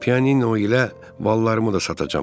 Piano ilə ballarımı da satacam.